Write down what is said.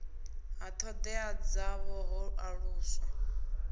ha thodea dzavho ho aluswa